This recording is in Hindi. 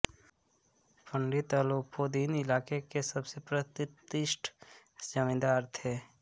पंडित अलोपीदीन इलाके के सबसे प्रतिष्ठित जमींदार थे